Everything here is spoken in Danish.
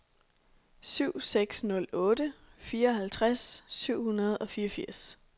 syv seks nul otte fireoghalvtreds syv hundrede og fireogfirs